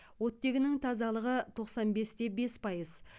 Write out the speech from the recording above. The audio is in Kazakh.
оттегінің тазалығы тоқсан бес те бес пайыз